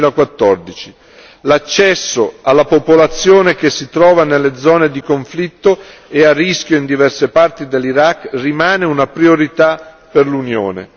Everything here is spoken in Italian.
2014. L'accesso alla popolazione che si trova nelle zone di conflitto e a rischio in diverse parti dell'Iraq rimane una priorità per l'Unione.